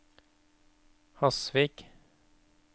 Hasvik